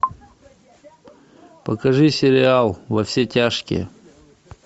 покажи сериал во все тяжкие